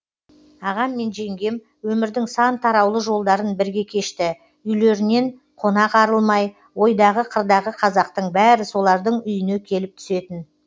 ағам мен жеңгем өмірдің сан тараулы жолдарын бірге кешті үйлерінен қонақ арылмай ойдағы қырдағы қазақтың бәрі солардың үйіне келіп түсетін